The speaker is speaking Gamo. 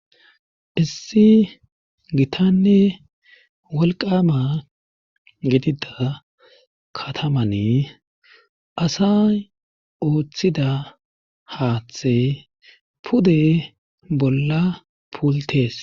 issi gitanne walqama gedida katamane asay ooththida haaththe pude bolla puultees